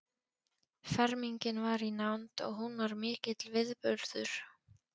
Fermingin var í nánd og hún var mikill viðburður.